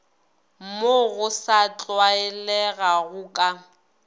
mo go sa tlwaelegago ka